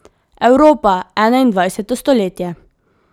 Evropa, enaindvajseto stoletje.